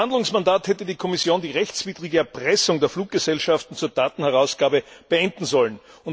Im Rahmen ihres Verhandlungsmandats hätte die Kommission die rechtswidrige Erpressung der Fluggesellschaften zur Datenherausgabe beenden sollen.